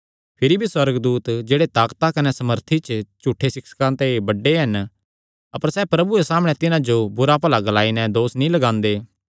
भिरी भी सुअर्गदूत जेह्ड़े ताकता कने सामर्थी च झूठे सिक्षकां ते बड्डे हन अपर सैह़ प्रभुये सामणै तिन्हां जो बुरा भला ग्लाई नैं दोस नीं लगांदे